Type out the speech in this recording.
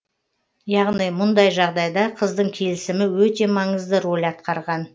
яғни мұндай жағдайда қыздың келісімі өте маңызды роль атқарған